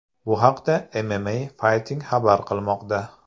Bu haqda MMAFighting xabar qilmoqda .